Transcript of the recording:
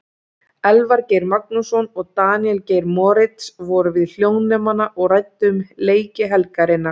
Elvar Geir Magnússon og Daníel Geir Moritz voru við hljóðnemana og ræddu um leiki helgarinnar.